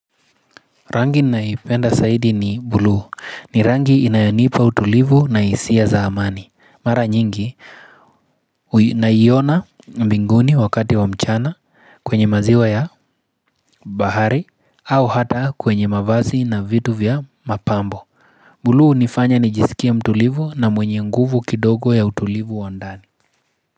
Rangi naipenda saidi ni bluu ni rangi inayonipa utulivu na hisia za amani. Mara nyingi naiona mbinguni wakati wa mchana kwenye maziwa ya bahari au hata kwenye mavazi na vitu vya mapambo. Bluu hunifanya nijisikie mtulivu na mwenye nguvu kidogo ya utulivu wa ndani.